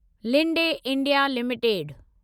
Linde India limited